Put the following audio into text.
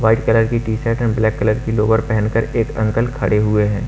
White colour की T shirt हैं black colour की लोअर पहनकर एक अंकल खड़े हुए हैं।